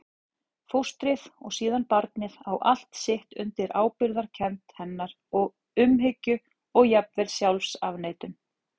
Fóstrið og síðan barnið á allt sitt undir ábyrgðarkennd hennar, umhyggju og jafnvel sjálfsafneitun.